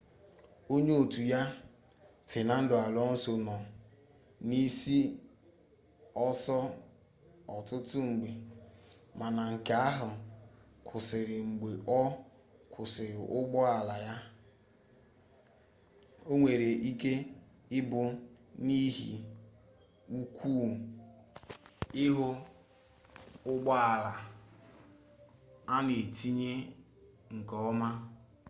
onye otu ya fenando alonso nọ n'isi ọsọ ọtụtụ mgbe mana nke ahụ kwụsịrị mgbe ọ kwụsịrị ụgbọala ya o nwere ike ịbụ n'ihi ụkwụ ihu ụgbọala a na-etinyeghi nke ọma